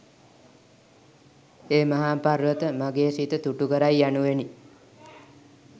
ඒ මහා පර්වත, මගේ සිත තුටුකරයි යනුවෙනි.